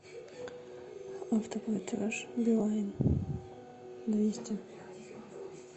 автоплатеж билайн двести